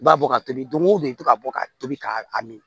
I b'a bɔ ka tobi don o don i bɛ to ka bɔ ka tobi k'a min